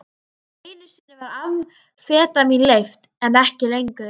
Einu sinni var amfetamín leyft, en ekki lengur.